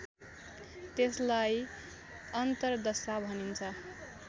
त्यसलाई अन्तरदशा भनिन्छ